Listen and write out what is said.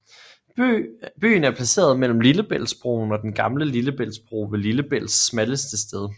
Byen er placeret mellem Lillebæltsbroen og Den gamle Lillebæltsbro ved Lillebælts smalleste sted